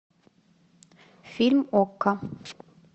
фильм окко